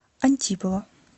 антипова